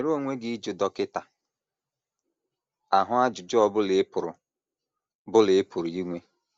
Nwere onwe gị ịjụ dọkịta ahụ ajụjụ ọ bụla ị pụrụ bụla ị pụrụ inwe.